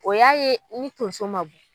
O y'a ye ni tonso ma bɔ.